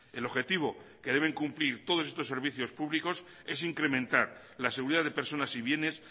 el objetivo que deben cumplir todos estos servicios públicos es incrementar la seguridad de personas y bienes